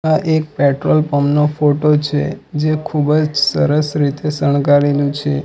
આ એક petrol pump નો ફોટો છે જે ખૂબ જ સરસ રીતે શણગારેલું છે.